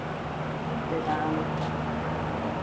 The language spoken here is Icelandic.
fimmtudagana